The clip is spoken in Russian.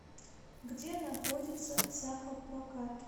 где находится сахапрокат